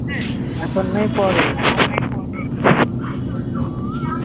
এখন নয় পরে